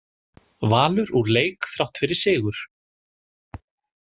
Valur úr leik þrátt fyrir sigur